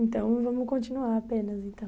Então, vamos continuar apenas, então.